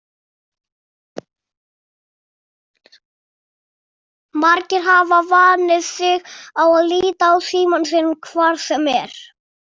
Margir hafa vanið sig á að líta á símann sinn hvar sem er.